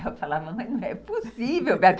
Eu falava, mãe, não é possível, Roberto.